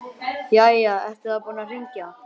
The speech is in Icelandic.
Jæja, ertu þá búinn að hringja.